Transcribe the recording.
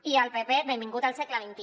i al pp benvingut al segle xxi